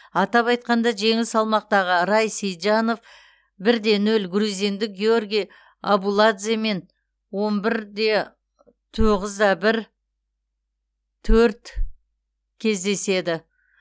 атап айтқанда жеңіл салмақтағы рай сейітжанов бір де нөл грузиндік гиорги абуладземен он бір де тоғыз да бір төрт кездеседі